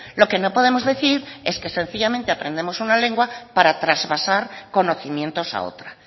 lo que no podemos decir es que sencillamente aprendemos una lengua para trasvasar conocimientos a otra